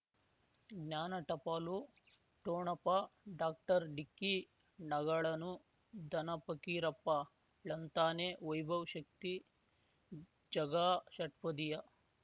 ಜ್ಞಾನ ಟಪಾಲು ಠೋಣಪ ಡಾಕ್ಟರ್ ಢಿಕ್ಕಿ ಣಗಳನು ಧನ ಫಕೀರಪ್ಪ ಳಂತಾನೆ ವೈಭವ್ ಶಕ್ತಿ ಝಗಾ ಷಟ್ಪದಿಯ